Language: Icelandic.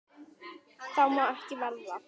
Það má ekki verða.